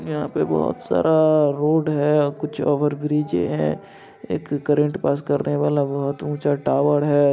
यहां पे बहोत सारा रोड है कुछ ओवर ब्रीजे है एक करंट पास करने वाला बहुत ऊंचा टावर है।